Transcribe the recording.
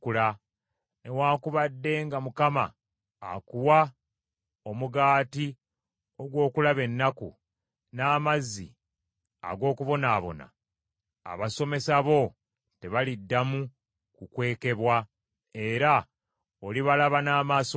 Newaakubadde nga Mukama akuwa omugaati ogw’okulaba ennaku, n’amazzi ag’okubonaabona, abasomesa bo tebaliddamu kukwekebwa, era olibalaba n’amaaso go.